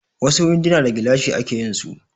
Wasu winduna da gilashi ake yinsu